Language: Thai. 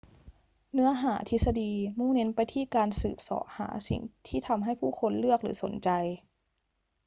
เนื้อหาทฤษฎีมุ่งเน้นไปที่การสืบเสาะหาสิ่งที่ทำให้ผู้คนเลือกหรือสนใจ